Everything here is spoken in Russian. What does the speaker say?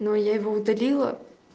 но я его удалила